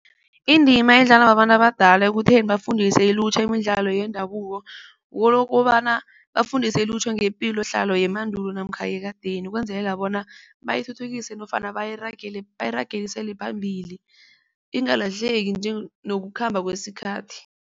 Indima edlalwa babantu abadala ekutheni bafundise ilutjha imidlalo yendabuko ngokobana bafundise ilutjha ngepilohlala yemandulo namkha yekadeni ukwenzelela bona bayithuthukise nofana bayiragiselele phambili ingalahleki nje nokukhamba kwesikhathi.